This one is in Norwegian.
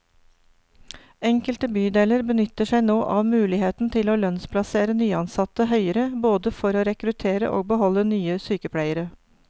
Enkelte bydeler benytter seg nå av muligheten til å lønnsplassere nyansatte høyere, både for å rekruttere og beholde nye sykepleiere.